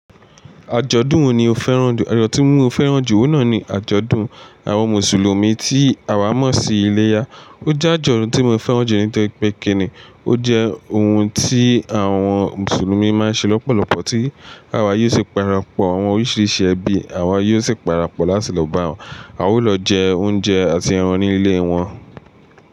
Àjọ̀dún wo ni o fẹ́ràn jù? Ajodun tí mo fẹ́ràn jù oun na ni àjọ̀dún àwọn Mùsùlùmí tí àwa mọ̀ sí iléyá. Ó jẹ́ àjọ̀dún tí mo fẹ́ràn jù nítorí pé kíni, ó jẹ́ ohun tí àwọn Mùsùlùmí máa ń ṣe lọ́pọ̀lọpọ̀ tí àwa yóò sì para pọ̀ àwọn oríṣiríṣi ẹbí, àwa yóò sì para pọ̀ láti lọ bá wọn. A ó lọ jẹ oúnjẹ àti ẹran ní ilé wọn.